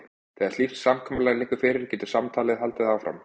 Þegar slíkt samkomulag liggur fyrir getur samtalið haldið áfram.